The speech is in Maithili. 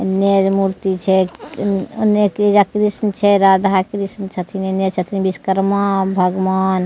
एने जे मूर्ति छैउने ये कृष्ण छै राधा-कृष्ण छथिन इने छथिन विश्वकर्मा भगवान --